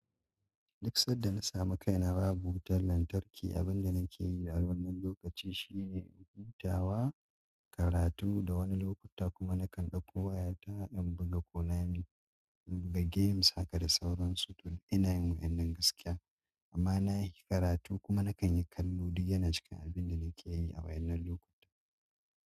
Duk sanda na samu kaina babu wutar lantarki, abin da nake yi a wannan lokaci shine hutawa, karatu da wani lokuta kuma nakan ɗauko wayata in buga ƙolaye in buga games haka da sauran su don ina yin waɗannan gaskiya amma na yi karatu kuma nakan yi kallo duk yana cikin abin da nake yi a wayanna lokuta.